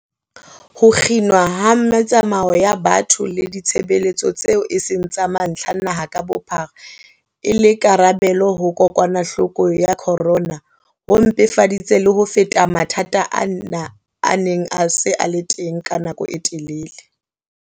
Ho kginwa ha metsamao ya batho le ditshebeletso tseo e seng tsa mantlha naha ka bophara e le karabelo ho kokwanahloko ya corona, ho mpefaditse le ho feta mathata ana a neng a se a le teng ka nako e telele.